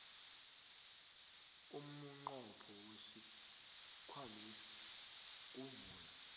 umnqopho wesikhwamesi kuvula